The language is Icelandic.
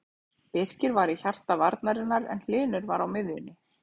Birkir var í hjarta varnarinnar en Hlynur var á miðjunni.